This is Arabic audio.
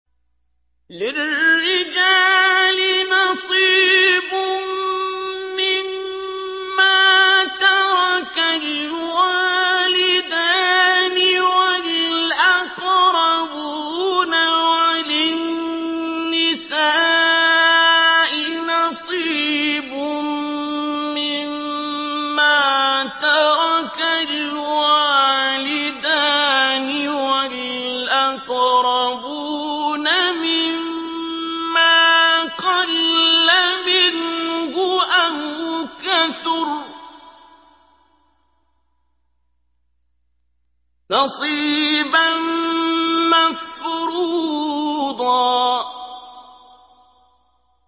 لِّلرِّجَالِ نَصِيبٌ مِّمَّا تَرَكَ الْوَالِدَانِ وَالْأَقْرَبُونَ وَلِلنِّسَاءِ نَصِيبٌ مِّمَّا تَرَكَ الْوَالِدَانِ وَالْأَقْرَبُونَ مِمَّا قَلَّ مِنْهُ أَوْ كَثُرَ ۚ نَصِيبًا مَّفْرُوضًا